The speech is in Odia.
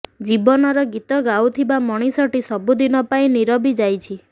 ଜୀବନର ଗୀତ ଗାଉଥିବା ମଣିଷଟି ସବୁଦିନ ପାଇଁ ନିରବି ଯାଇଛି